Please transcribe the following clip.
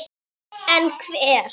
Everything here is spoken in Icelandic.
En hver?